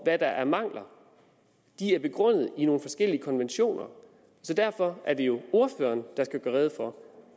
hvad der er af mangler og de er begrundet i forskellige konventioner så derfor er det jo ordføreren der skal gøre rede for